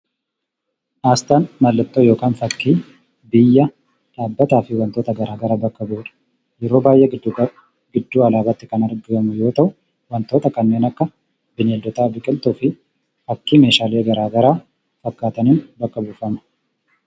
Aasxaan mallattoo yookaan fakkii biyya, dhaabbataa fi wantoota gara garaa bakka bu'udha. Yeroo baay'ee giddu gala iddoo alaabaatti kan argamu yoo ta’u, wantoota akka bineeldota, biqiltuu fi fakkii meeshaalee gara garaa fakkaataniin bakka buufama.